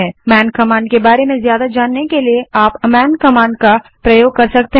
आप man command के बारे में ही अधिक जानने के लिए मैंन कमांड का उपयोग कर सकते हैं